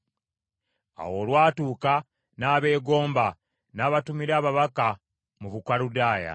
Awo olwatuuka, n’abeegomba, n’abatumira ababaka mu Bukaludaaya.